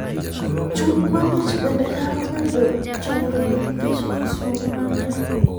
Chuny ma ng'ich bende nyalo bedo chandruok nikech nyosruok mar del.